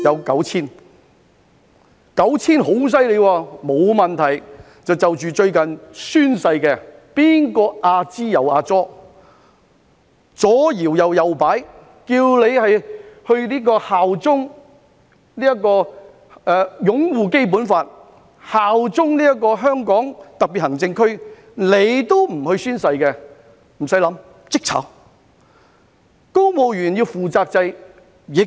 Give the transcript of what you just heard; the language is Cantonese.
九千人是很大的數目，但沒有問題，就着最近宣誓的事宜，誰在"阿支阿左"，左搖右擺，不宣誓擁護《基本法》，效忠香港特別行政區，無須多想，立即解僱。